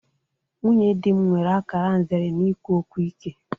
Nwunye dị m nwere akara nzere n'ikwu okwu ike.